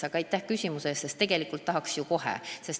Aga aitäh küsimuse eest, sest muidugi tegelikult tahaks ju kohe.